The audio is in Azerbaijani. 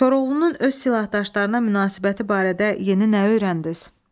Koroğlunun öz silahdaşlarına münasibəti barədə yeni nə öyrəndiniz?